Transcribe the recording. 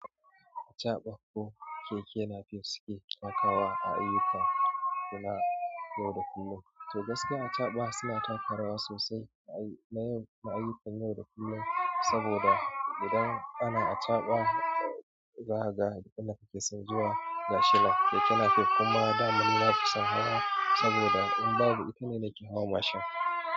Acaɓa ko keke nafe sike takawa a ayyuka suna yau da kullum. To gaskiya acaɓa suna taka rawa sosai na ayyukan yau da kullum. Saboda idan ana acaɓa, zaka ga duk inda kake so zuwa gashi nan keke napep. Kuma daman na fi son hawa saboda in babu itane nake hawa mashin.